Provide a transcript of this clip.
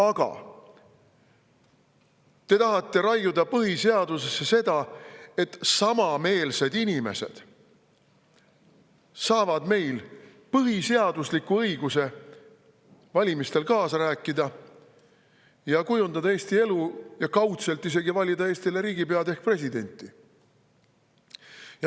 Aga te tahate raiuda põhiseadusesse selle, et samameelsed inimesed saaksid põhiseadusliku õiguse valimistel kaasa rääkida, kujundada Eesti elu ja kaudselt isegi valida Eestile riigipead ehk presidenti.